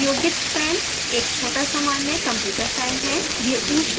उपयोगित फैन एक छोटा सामान्य कंप्यूटर फैन है